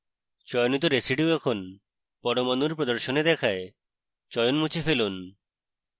চয়নিত residues এখন পরমাণুর প্রদর্শনে দেখায় চয়ন মুছে ফেলুন